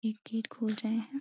ये गेट खोल रहे हैं।